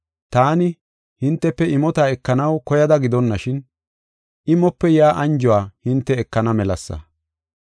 Taani, hintefe imota ekanaw koyada gidonashin, imope yaa anjuwa hinte ekana melasa.